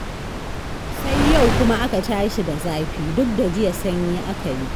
Sai yau kuma aka tashi da zafi, duk da jiya sanyi aka yi.